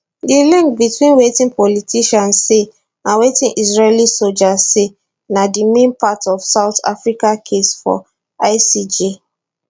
di link between wetin politicians say and wetin israeli soldiers say na di main part of south africa case for icj